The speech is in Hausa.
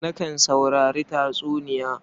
Nakan saurari tatsuniya.